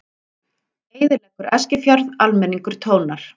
Eyðileggur Eskifjörð, almenningur tónar